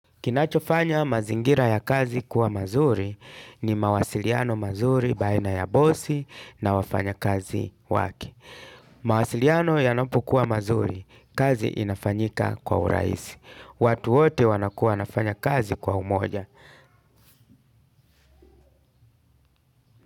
Kinachofanya mazingira ya kazi kuwa mazuri ni mawasiliano mazuri baina ya bosi na wafanya kazi wake. Mawasiliano yanapokuwa mazuri, kazi inafanyika kwa urahisi. Watu wote wanakuwa wanafanya kazi kwa umoja.